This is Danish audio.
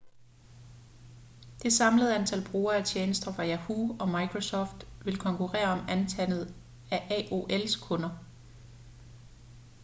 det samlede antal brugere af tjenester fra yahoo og microsoft vil konkurrere om antallet af aol's kunder